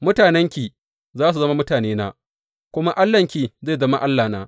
Mutanenki, za su zama mutanena kuma Allahnki, zai zama Allahna.